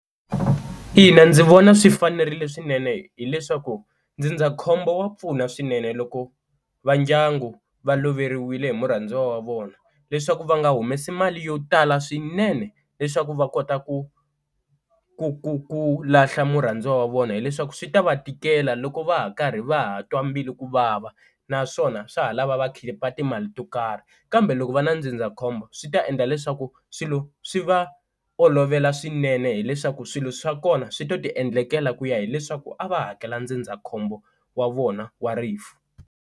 Ina ndzi vona swi fanerile swinene hileswaku ndzindzakhombo wa pfuna swinene loko va ndyangu va loveriwile hi murhandziwa wa vona leswaku va nga humesi mali yo tala swinene leswaku va kota ku ku ku ku lahla murhandziwa wa vona, hileswaku swi ta va tikela loko va ha karhi va ha twa mbilu ku vava naswona swa ha lava va khipa timali to karhi, kambe loko va ri na ndzindzakhombo khombo swi ta endla leswaku swilo swi va olovela swinene hileswaku swilo swa kona swi to tiendlekela ku ya hileswaku a va hakela ndzindzakhombo wa vona wa rifu.